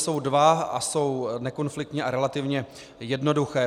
Jsou dva a jsou nekonfliktní a relativně jednoduché.